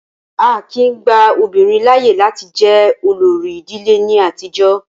Á kìí gba obìnrin láàyè láti jẹ olórí ìdílé ní àtijọ́.